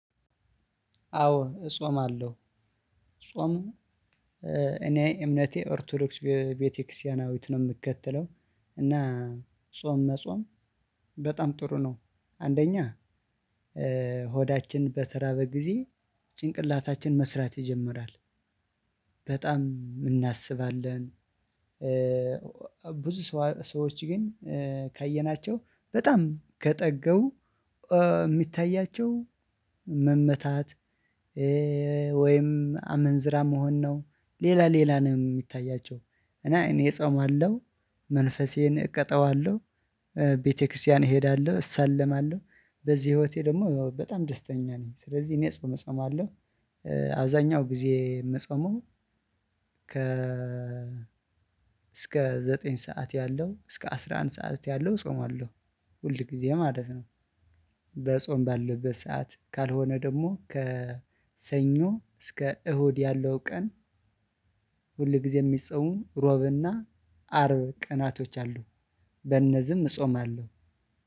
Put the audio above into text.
አዎ እጾም አለው። ጾም። እኔ እምነቴ ኦርቶዶክስ ቤተክርስቲያናዊት ነው የምከተለው። እና ጾም መጾም በጣም ጥሩ ነው። አንደኛ ሆዳችን በተራበ ጊዜ ጭንቅላታችን መስራት ይጀምራል በጣም እናስባለን። ብዙ ሰዎች ግን ካየናቸው በጣም ከጠገቡ የሚታያቸው መመታት። ወይም አመንዝራ መሆን ነው። ሌላ ሌላ ነው የሚታያቸው። እና እኔ እጾማለሁ መንፈሴን እቀጣዋለሁ። ቤተክርስቲያን እሄዳለሁ እሳለማለሁ። በዚህ ህይወቴ ደግሞ በጣም ደስተኛ ነኝ። ስለዚህ እኔ ጾም እጸማለሁ። አብዛኛው ጊዜ የምጸመው ከ እስከ ዘጠኝ ሰዓት ያለው እስከ አስራ አንድ ሰዓት ያለው ጾማለሁ። ሁል ጊዜ ማለት ነው። በጾም ባለበት ሰዓት ካልሆነ ደግሞ ከሰኞ እስከ እሁድ ያለው ቀን። ሁል ጊዜ የሚጸመው ሮብና አርብ ቀናቶች አሉ። በነዝም እጾም አለው።